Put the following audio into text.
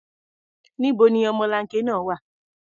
Níbo ni ọmọlanke náà wà?